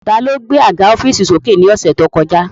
Ta ló gbé àga ọ́fììsì sókè ní ọ̀sẹ̀ tí ó kọjá